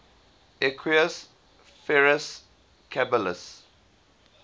equus ferus caballus